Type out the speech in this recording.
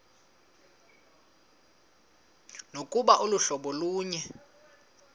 nokuba aluhlobo lunye